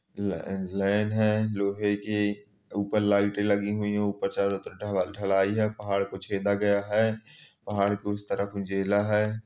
ले लेन है लोहे की ऊपर लाइटें लगी हुई हैं ऊपर चारों तरफ ढ ढलाई है पहाड़ को छेदा गया है और पहाड़ को इस तरफ है